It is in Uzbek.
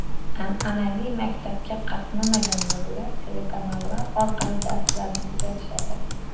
An’anaviy maktabga qatnamagan bolalar telekanallar orqali darslarni kuzatishadi.